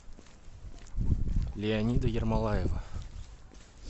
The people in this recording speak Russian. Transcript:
леонида ермолаева